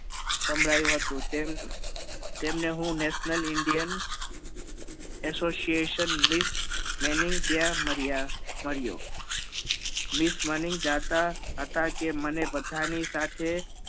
સંભળાયું હતું તેમ તેમને હું National Indian association miss maning ત્યાં મળ્યા મળ્યો miss maning ચાહતા હતા કે મને બધા ની સાથે